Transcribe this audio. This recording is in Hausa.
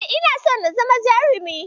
E, ina so na zama jarumi.